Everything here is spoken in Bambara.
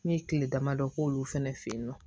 N ye kile damadɔ k'olu fɛnɛ fɛ yen nɔ